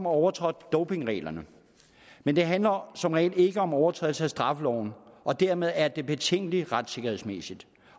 overtrådt dopingreglerne men det handler som regel ikke om overtrædelse af straffeloven og dermed er det betænkeligt retssikkerhedsmæssigt